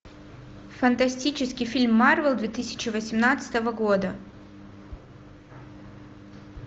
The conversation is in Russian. фантастический фильм марвел две тысячи восемнадцатого года